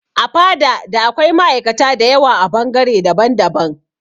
A fada da akwai ma'aikata da yawa a bangare daban daban